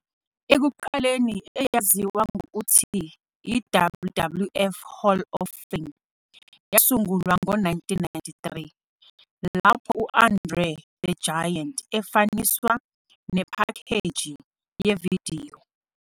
Ekuqaleni eyaziwa ngokuthi "i-WWF Hall of Fame", yasungulwa ngo-1993, lapho u-André the Giant efaniswa nephakheji yevidiyo.